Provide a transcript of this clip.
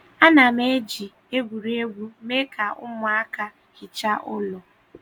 A na m eji egwuregwu mee ka ụmụaka hichaa ụlọ